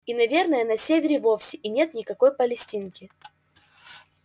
и наверно на севере вовсе и нет никакой палестинки